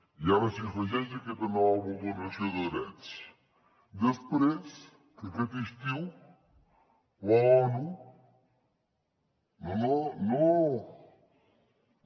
i ara s’hi afegeix aquesta nova vulneració de drets després que aquest estiu l’onu no no no no no